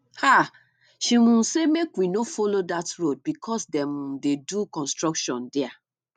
um she um say make we no follow dat road because dem um dey do construction there